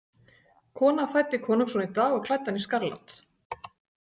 Kona fæddi konungsson í dag og klæddi hann í skarlat.